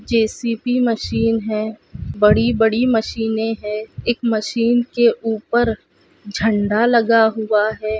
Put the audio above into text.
JCB machine है बड़ी बड़ी मशीने है एक मशीन के ऊपर झंडा लगा हुआ है।